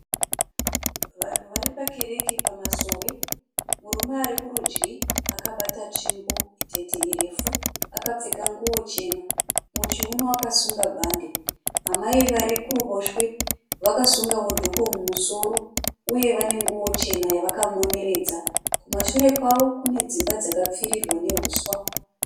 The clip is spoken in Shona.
Vanhu vari pakereke pamasowe. Murume ari kurudyi akabata tsvimbo itete irefu akapfeka nguwo chena muchiuno akasunga bhande. Amai vari kuruboshwe vakasungawo dhuku mumusoro uye vane nguwo chena yavakamoneredza. Kumashure kwavo kune dzimba dzakapfirirwa nehuswa.